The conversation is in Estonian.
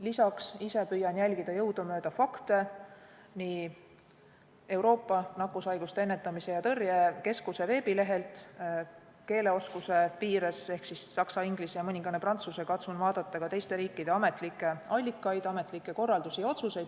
Lisaks püüan ise jälgida jõudumööda fakte nii Euroopa Nakkushaiguste Ennetamise ja Tõrje Keskuse veebilehelt , katsun vaadata ka teiste riikide ametlikke allikaid, ametlikke korraldusi ja otsuseid.